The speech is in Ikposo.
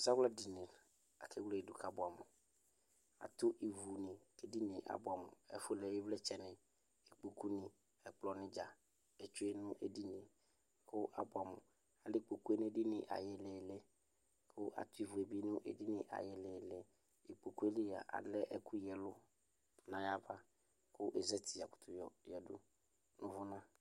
ɛzawla dini lakʋ ewledʋ ka bʋɛamʋ atʋ ivʋni ke dinie abʋamʋ ikpokʋni ɛkplɔni dza etsʋe nedinie abʋɛamʋ ɛlɛ ikpokʋe nʋ edinie ayʋ iyilii katʋ ivʋe nʋ edini ayʋ ililii ikpokʋeli alɛ ɛkʋ yiaɛlʋ nayava kɛzatia yakʋtʋ yɔ yeyadʋ nʋ ʋvʋnʋ